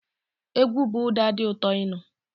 Egwu bu ụda di ụtó ịnụ.